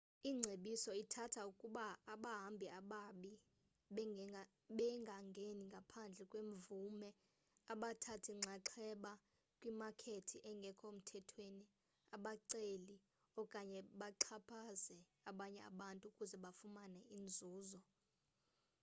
ingcebiso ithatha ukuba abahambi ababi bengangeni ngaphandle kwemvume abathathi nxaxheba kwimakethi engekho mthethweni abaceli okanye baxhaphaze abanye abantu ukuze bafumane inzuzo